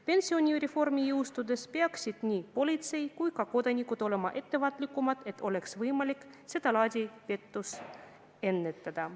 Pensionireformi jõustudes peaksid nii politsei kui ka kodanikud ise olema ettevaatlikumad, et oleks võimalik sedalaadi pettust ära hoida.